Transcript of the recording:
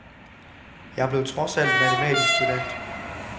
Jeg blev trods alt matematisk student.